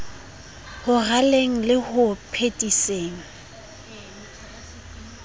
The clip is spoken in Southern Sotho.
ho raleng le ho phethiseng